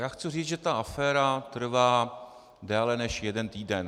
Já chci říct, že ta aféra trvá déle než jeden týden.